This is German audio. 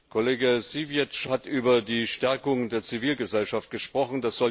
Kollege Siwiec hat über die Stärkung der Zivilgesellschaft gesprochen.